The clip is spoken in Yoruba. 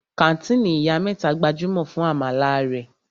Kàńtìnì Ìyá mẹ́ta gbajúmọ̀ fún àmàlà rẹ̀.